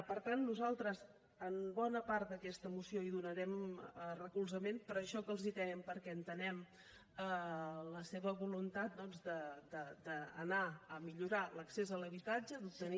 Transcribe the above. per tant nosaltres a bona part d’aquesta moció hi donarem recolzament per això que els dèiem perquè entenem la seva voluntat d’anar a millorar l’accés a l’habitatge d’obtenir